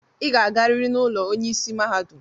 Ị ga-agarịrị n'ụlọ ọrụ onye isi mahadum!